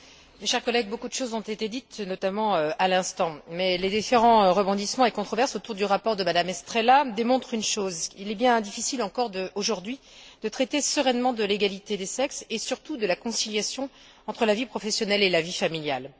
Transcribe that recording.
Madame la Présidente, chers collègues, beaucoup de choses ont été dites, notamment à l'instant. Mais les différents rebondissements et controverses autour du rapport de Mme Estrela démontrent une chose il est bien difficile, encore aujourd'hui, de traiter sereinement de l'égalité des sexes, et surtout de la conciliation entre la vie professionnelle et la vie familiale.